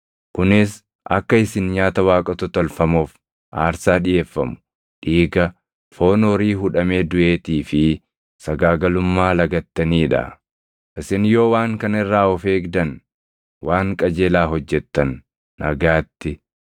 kunis akka isin nyaata waaqota tolfamoof aarsaa dhiʼeeffamu, dhiiga, foon horii hudhamee duʼeetii fi sagaagalummaa lagattanii dha. Isin yoo waan kana irraa of eegdan, waan qajeelaa hojjettan. Nagaatti.